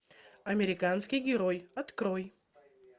американский герой открой